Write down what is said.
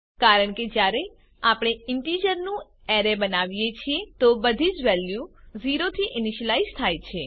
કારણ કે જયારે આપણે ઇન્ટિજર નું અરે બનાવીએ છીએ તો બધી વેલ્યુઝ 0 થી ઈનીશ્યલાઈઝ થાય છે